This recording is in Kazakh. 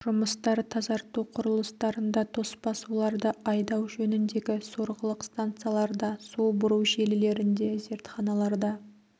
жұмыстар тазарту құрылыстарында тоспа суларды айдау жөніндегі сорғылық станцияларда су бұру желілерінде зертханаларда